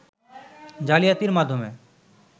জালিয়াতির মাধ্যমে